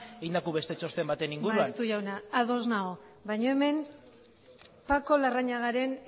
egindako beste txosten baten inguruan maeztu jauna ados nago baina hemen paco larrañagaren